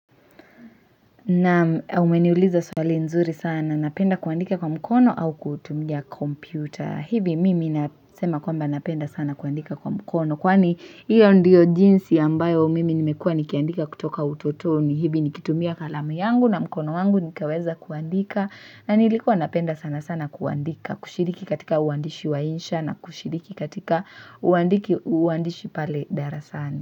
Naam umeniuliza swali nzuri sana napenda kuandika kwa mkono au kutumia kompyuta hivi mimi nasema kwamba napenda sana kuandika kwa mkono kwani hiyo ndio jinsi ambayo mimi nimekua nikiandika kutoka utotoni hivi nikitumia kalamu yangu na mkono wangu nikaweza kuandika na nilikuwa napenda sana sana kuandika kushiriki katika uandishi wa insha na kushiriki katika uandiki uandishi pale darasani.